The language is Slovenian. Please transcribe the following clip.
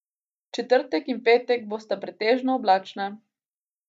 Četrtek in petek bosta pretežno oblačna.